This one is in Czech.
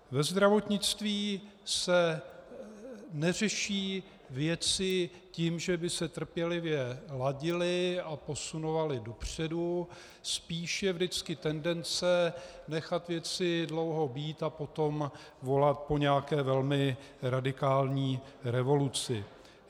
Ve zdravotnictví se neřeší věci tím, že by se trpělivě ladily a posunovaly dopředu, spíš je vždycky tendence nechat věci dlouho být a potom volat po nějaké velmi radikální revoluci.